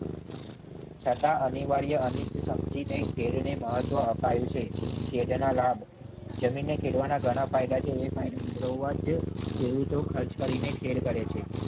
છતાં અનિવાર્ય અનિષ્ટ સમજીને ખેડને મહત્વ અપાયું છે. ખેડા લાભ જમીનને ખેડવાના ઘણા ફાયદા છે. એ ફાયદા મેળવવા માટૅ જ ખેડૂતો ખર્ચ કરીને ખેડ કરેં છે.